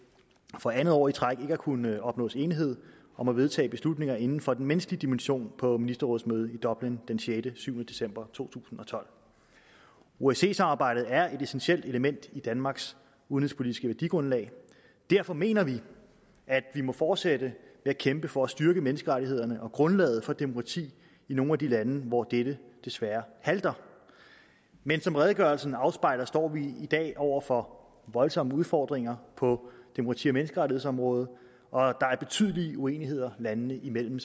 for andet år i træk ikke har kunnet opnås enighed om at vedtage beslutninger inden for den menneskelige dimension på ministerrådsmødet i dublin den sjette syv december to tusind og tolv osce samarbejdet er et essentielt element i danmarks udenrigspolitiske værdigrundlag derfor mener vi at vi må fortsætte med at kæmpe for at styrke menneskerettighederne og grundlaget for demokrati i nogle af de lande hvor dette desværre halter men som redegørelsen afspejler står vi i dag over for voldsomme udfordringer på demokrati og menneskerettighedsområdet og der er betydelige uenigheder landene imellem